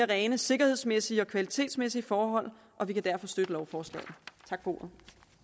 rent sikkerhedsmæssige og kvalitetsmæssige forhold og vi kan derfor støtte lovforslaget tak for ordet